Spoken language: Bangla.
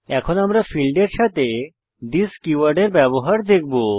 এখন আমরা ফীল্ডের সাথে থিস কীওয়ার্ডের ব্যবহার দেখব